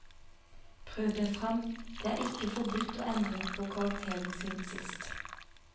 Prøv deg fram, det er ikke forbudt å endre på karakteren siden sist.